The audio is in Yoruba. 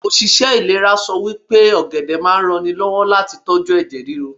Òṣìṣẹ́ ìlera sọ pé ọ̀gẹ̀dẹ̀ máa ń ranni lọ́wọ́ láti tóju ẹ̀jẹ̀ ríru.